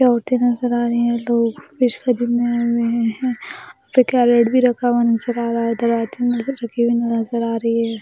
नज़र आ रहे हैं आए हुए हैं फिर कैरट भी रखा हुआ नज़र आ रहा है नज़र आ रही है।